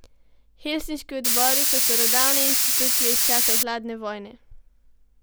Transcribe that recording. Helsinški odbori so starodavne institucije iz časov hladne vojne.